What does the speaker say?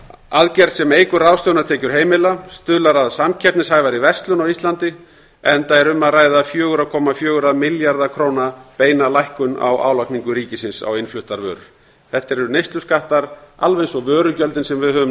aðgerð sem eykur ráðstöfunartekjur heimila og stuðlar að samkeppnishæfari verslun á íslandi enda er um að ræða fjögurra komma fjögurra milljarða króna beina lækkun á álagningu ríkisins á innfluttar vörur þetta eru neysluskattar alveg eins og almennu vörugjöldin sem við höfum